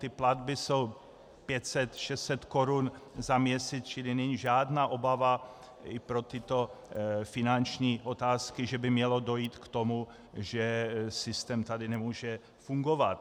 Ty platby jsou 500, 600 korun za měsíc, čili není žádná obava pro tyto finanční otázky, že by mělo dojít k tomu, že systém tady nemůže fungovat.